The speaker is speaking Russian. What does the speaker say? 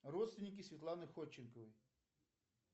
родственники светланы ходченковой